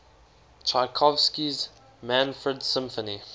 tchaikovsky's manfred symphony